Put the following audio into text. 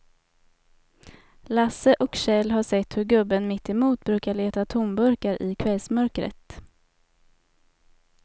Lasse och Kjell har sett hur gubben mittemot brukar leta tomburkar i kvällsmörkret.